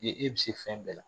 e bi se fɛn bɛɛ la.